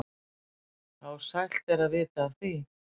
þá sælt er að vita af því.